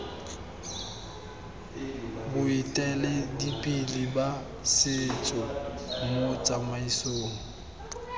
boeteledipele ba setso mo tsamaisong